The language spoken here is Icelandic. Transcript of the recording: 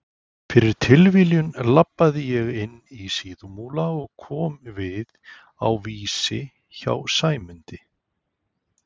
Fyrir tilviljun labbaði ég inn í Síðumúla og kom við á Vísi hjá Sæmundi